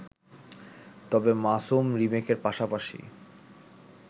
তবে মাসুম রিমেকের পাশাপাশি